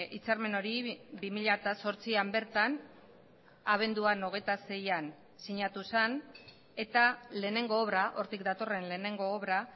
hitzarmen hori bi mila zortzian bertan abenduan hogeita seian sinatu zen eta lehenengo obra hortik datorren lehenengo obra